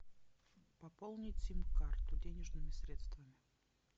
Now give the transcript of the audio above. пополнить сим карту денежными средствами